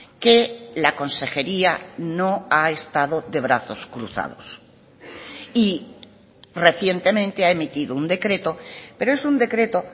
que la consejería no ha estado de brazos cruzados y recientemente ha emitido un decreto pero es un decreto